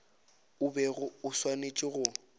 o bego o swanetše go